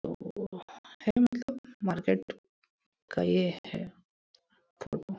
market का ये है --